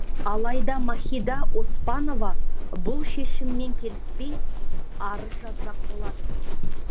алайда махида оспанова бұл шешіммен келіспей арыз жазбақ болады